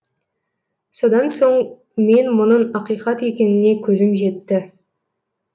содан соң мен мұның ақиқат екеніне көзім жетті